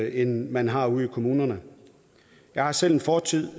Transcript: end man har ude i kommunerne jeg har selv en fortid